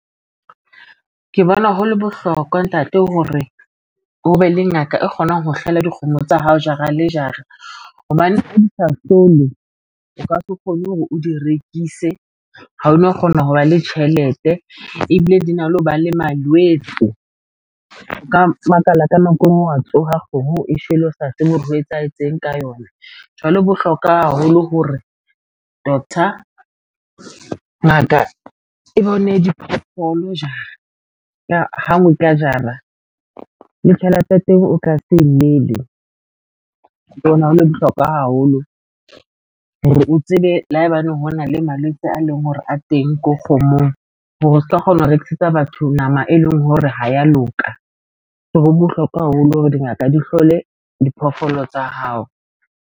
Ke bona ho le bohlokwa ntate hore ho be le ngaka e kgonang ho hlola dikgomo tsa hao, jara le jara hobane ha di sa hlahlowe. O ka se kgone hore o di rekise ha o no kgona ho ba le tjhelete ebile di na le ho ba le malwetso. Nka makala ka nako e ngwe wa tsoha kgomo e shwele o sa tse be hore ho etsahetseng ka yona jwale ho bohlokwa haholo hore doctor, ngaka e bone diphoofolo jara ha ngwe ka jara le tjhelete ya teng o ka se llele ke bona ho le bohlokwa haholo hore o tsebe le haebaneng hona le malwetse a leng hore a teng ko kgomong hore o ska kgona ho rekisetsa batho nama e leng hore ha ya loka. So ho bohlokwa haholo hore dingaka di hlole diphoofolo tsa hao.